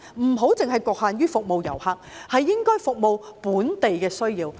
不要只局限於服務遊客，而應該服務本地的需要。